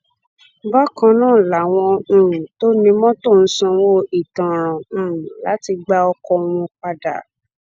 bákan náà làwọn um tó ní mọtò ń sanwó ìtanràn um láti gba ọkọ wọn padà